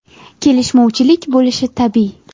Kelishmovchilik bo‘lishi tabiiy.